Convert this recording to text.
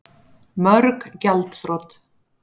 Mörg gjaldþrot